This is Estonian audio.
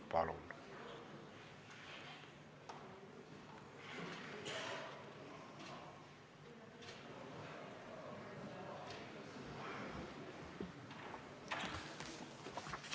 Palun!